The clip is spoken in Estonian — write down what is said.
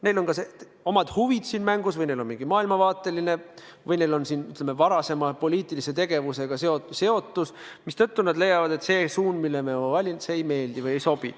Neil on kas omad huvid mängus või neil on mingi maailmavaateline seisukoht või on nad seotud, ütleme, varasema poliitilise tegevusega, mistõttu nad leiavad, et see suund, mille me oleme valinud, neile ei meeldi või ei sobi.